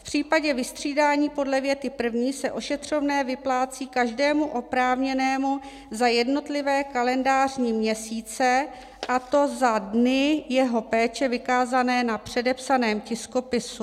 V případě vystřídání podle věty první se ošetřovné vyplácí každému oprávněnému za jednotlivé kalendářní měsíce, a to za dny jeho péče vykázané na předepsaném tiskopisu;